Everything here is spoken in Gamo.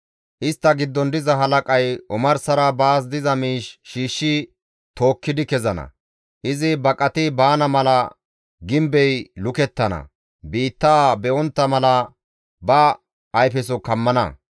«Istta giddon diza halaqay omarsara baas diza miish shiishshi tookkidi kezana; izi baqati baana mala gimbey lukettana; biittaa be7ontta mala ba ayfeso kammana.